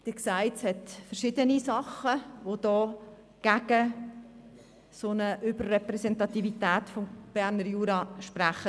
Sie sehen, es hat verschiedene Dinge, die gegen eine solche Über-Repräsentativität des Berner Juras sprechen.